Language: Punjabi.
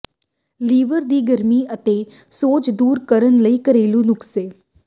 ਲੀਵਰ ਦੀ ਗਰਮੀ ਅਤੇ ਸੋਜ ਦੂਰ ਕਰਨ ਲਈ ਘਰੇਲੂ ਨੁਸਖੇ